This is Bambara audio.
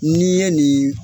N'i ye nin